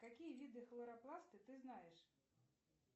какие виды хлоропласты ты знаешь